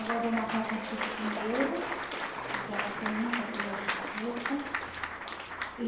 Agora eu vou marcar a consulta com o neuro, porque ela está tendo muita dor de cabeça e...